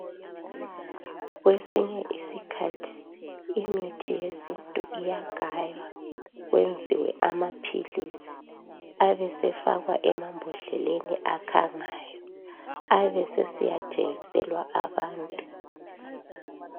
Kwesinye isikhathi imithi yesintu iyagaywa kwenziwe amaphilisi abesefakwa emambodleleni akhangayo abesesiya thengiselwa abantu